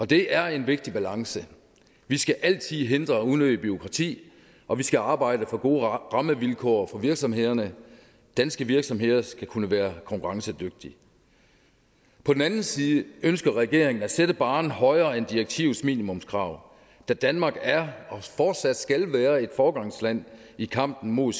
det er en vigtig balance vi skal altid hindre unødigt bureaukrati og vi skal arbejde for gode rammevilkår for virksomhederne danske virksomheder skal kunne være konkurrencedygtige på den anden side ønsker regeringen at sætte barren højere end direktivets minimumskrav da danmark er og fortsat skal være et foregangsland i kampen mod